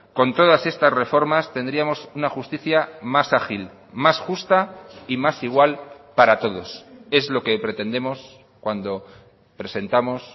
con todas estas reformas tendríamos una justicia más ágil más justa y más igual para todos es lo que pretendemos cuando presentamos